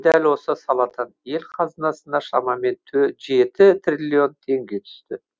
дәл осы саладан ел қазынасына шамамен жеті триллион теңге түсті